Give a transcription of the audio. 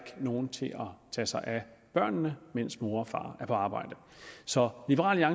nogen til at tage sig af børnene mens mor og far er på arbejde så liberal